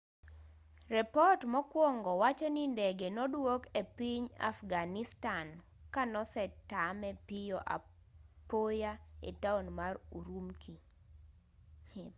repot mokwongo wacho ni ndege nodwok epiny afghanistan kanosetame piyo apoya etown mar ürümqi